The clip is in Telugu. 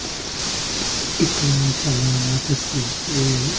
ఇక్కడ చాలా వాటస్ అది--